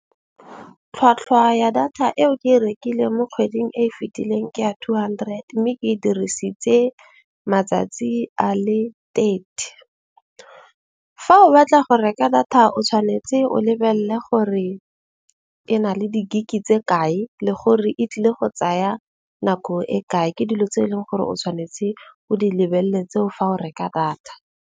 Tlhwatlhwa ya data eo ke e rekileng mo kgweding e fitileng ke ya two hundred. Mme ke e dirisitse matsatsi a le thirty. Fa o batla go reka data o tshwanetse o lebelle gore e na le di-gig-e tse kae le gore e tlile go tsaya nako e kae. Ke dilo tse e leng gore o tshwanetse o di lebelle tseo fa o reka data.